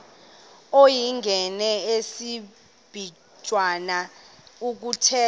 uyingene ngesiblwitha kuthethwa